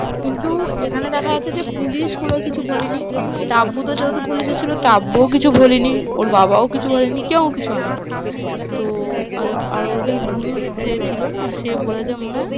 কিন্তু এখানে দেখা যাচ্ছে যে পুলিশগুলো কিছু বলেনি, টাব্বু তো যেহেতু পুলিশে ছিল টাব্বুও কিছু বলেনি, ওর বাবাও কিছু বলেনি, কেউ কিছু হয়নি তো আর আর ওদের গুরু যে ছিল না সে বলেছে মনে হয়